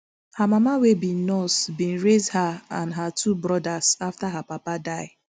her mama wey be nurse bin raise her and her two brodas afta her papa die